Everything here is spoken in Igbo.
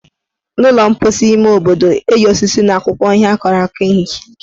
N' ụlọ mposi ime obodo, eji osisi na akwụkwọ ihe akọrọ akọ ehicha ike.